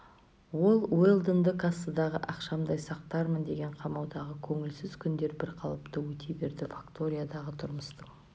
ол уэлдонды кассадағы ақшамдай сақтармын деген қамаудағы көңілсіз күндер бір қалыпты өте берді факториядағы тұрмыстың